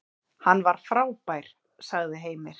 Hann var frábær, sagði Heimir.